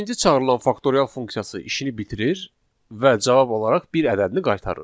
Beşinci çağırılan faktorial funksiyası işini bitirir və cavab olaraq bir ədədini qaytarır.